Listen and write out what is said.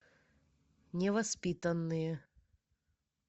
невоспитанные